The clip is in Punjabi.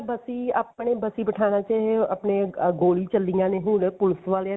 ਬਸੀ ਆਪਣੇ ਬਸੀ ਪਠਾਣਾ ਚ ਆਪਣੇ ਗੋਲੀ ਚੱਲੀਆਂ ਨੇ ਹੁਣ ਪੁਲਸ ਵਾਲਿਆਂ ਨੇ